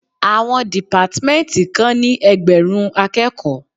Àwọn dìpátmẹ́ntì kan ní ẹgbẹ̀rún akẹ́kòó.